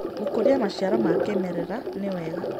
Gũkũrĩa macĩaro ma kĩmerera nĩ wega